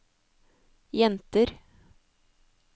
jenter